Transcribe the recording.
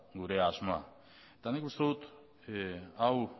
gure asmoa eta nik uste dut hau